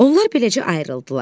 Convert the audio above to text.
Onlar beləcə ayrıldılar.